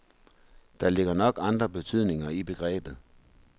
Der ligger nok andre betydninger i begrebet.